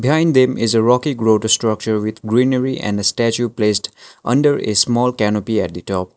behind them is a rocky structure with greenery and statue placed under a small canopy at the top.